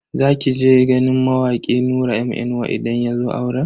Za ki je ganin mawaki Nura M inuwa idan yazo auren?